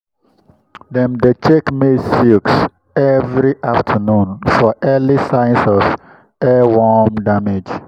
dem dey check maize silks every afternoon for early signs of earworm damage.